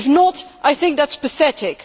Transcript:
If not, I think that is pathetic.